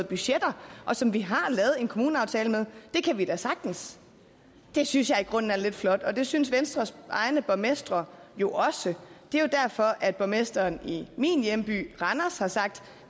budgetter og som vi har lavet en kommuneaftale med det kan man da sagtens synes jeg i grunden er lidt flot det synes venstres egne borgmestre jo også det er jo derfor at borgmesteren i min hjemby randers har sagt at